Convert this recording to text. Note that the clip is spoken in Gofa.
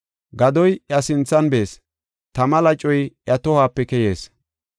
Gadoy iya sinthan bees; tama lacoy iya tohuwape keyees.